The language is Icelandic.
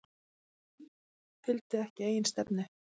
Fylgdu ekki eigin stefnu